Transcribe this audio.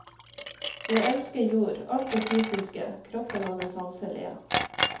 Jeg elsker jord, alt det fysiske, kroppen og det sanselige.